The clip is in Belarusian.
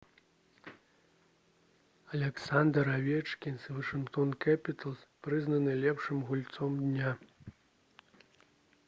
аляксандр авечкін з «вашынгтон кэпіталз» прызнаны лепшым гульцом дня